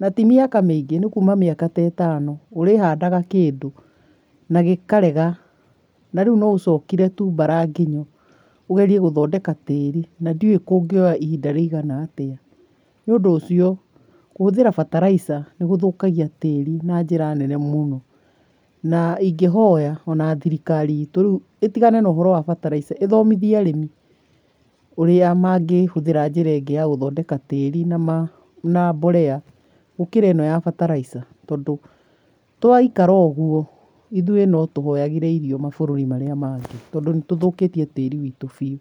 na ti mĩaka mĩingi nĩ kuma mĩaka ta ĩtano ũrĩhandaga kĩndũ na gĩkarega na rĩu no ũcokire tu mbara nginyo, ũgerie gũthondeka tĩri na ndiũ kũngĩoya ihinda rĩigana atĩa. Nĩ ũndũ ũcio kũhũthĩra bataraitha gũthũkagia tĩri na njĩra nene mũno na ingĩ hoya ona thirikari itũ rĩu ĩtigane na ũhoro wa bataraitha, ĩthomithie arĩmi ũrĩa mangĩhũthĩra njĩra ĩngĩ ya gũthondeka tĩri na mbolea gũkĩra ĩno ya bataraitha, tondũ twaikara ũguo ithuĩ no tũhoyagire irio mabũrũri marĩa mangĩ tondũ nĩ tũthũkĩtie tĩri wĩtũ biũ.